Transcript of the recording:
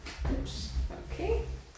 Jeps okay